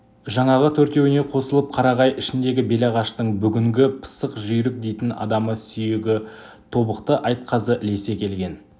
жаңағы төртеуіне қосылып қарағай ішіндегі белағаштың бүгінгі пысық жүйрік дейтін адамы сүйегі тобықты айтқазы ілесе келген